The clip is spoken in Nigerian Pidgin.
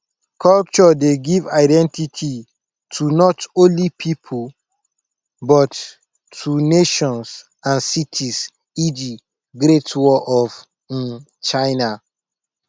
culture dey give identity to not only pipo but to nations and cities eg great wall of um china